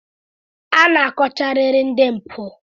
A ga-akọchariri ndị mpụ.